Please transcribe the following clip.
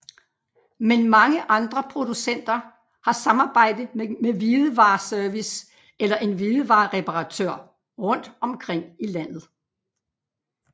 Men mange andre producenter har samarbejde med hvidevare service eller en hvidevare reparatør rundt omkring i landet